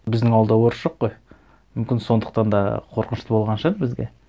біздің ауылда орыс жоқ қой мүмкін сондықтан да қорқынышты болған шығар бізге